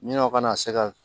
Ɲinanw kana se ka